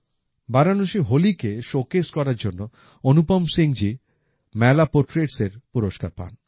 বারাণসির হোলিকে শোকেস করার জন্য অনুপম সিংজি মেলা portraitsএর পুরস্কার পান